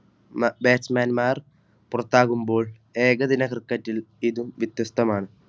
Batchman മാർ പുറത്താകുമ്പോൾ ഏകദിന cricket ഇതും വ്യത്യസ്തമാണ്